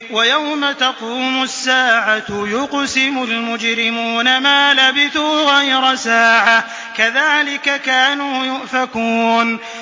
وَيَوْمَ تَقُومُ السَّاعَةُ يُقْسِمُ الْمُجْرِمُونَ مَا لَبِثُوا غَيْرَ سَاعَةٍ ۚ كَذَٰلِكَ كَانُوا يُؤْفَكُونَ